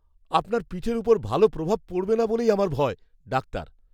আপনার পিঠের ওপর ভালো প্রভাব পড়বে না বলেই আমার ভয়। ডাক্তার